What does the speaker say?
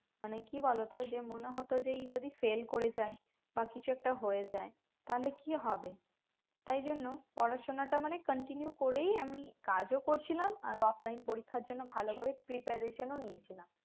মানে কি বলতো যে মনে হতো যে ই যদি fail করে যায় বা কিছু একটা হয়ে যায় তাহলে কি হবে তাই জন্য পড়াশোনাটা মানে continue করেই আমি কাজও করছিলাম আর offline পরীক্ষার জন্য ভালো ভালো preparation ও নিয়ে ছিলাম